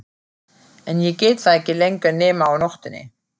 En ég get það ekki lengur nema á nóttunni.